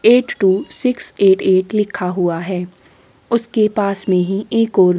eight two six eight eight लिखा हुआ है उसके पास में ही एक--